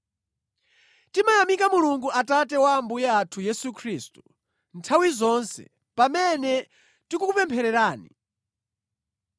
Timayamika Mulungu Atate wa Ambuye athu Yesu Khristu, nthawi zonse pamene tikukupemphererani.